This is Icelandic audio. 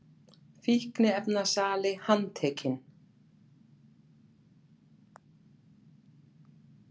Fíkniefnasali handtekinn